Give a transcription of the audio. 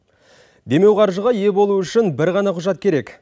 демеуқаржыға ие болу үшін бір ғана құжат керек